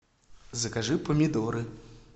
закажи помидоры